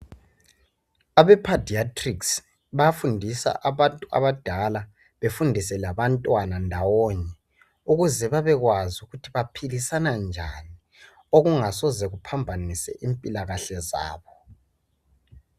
Abe padiatrics bayafundisa abantu abadala befundise labantwana ndawonye ukuze babekwazi ukuthi baphilisana njani okungasoze kuphambanise impilakahle zabo.